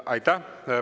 Aitäh!